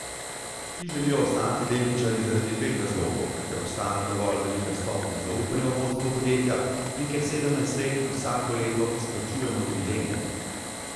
Ti želijo ostati delničarji zaradi dveh razlogov, ker obstaja dovolj velika stopnja zaupanja v vodstvo podjetja in ker sedemnajst let vsako leto izplačujemo dividende.